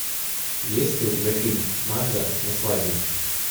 есть ли у тебя фильм марго на свадьбе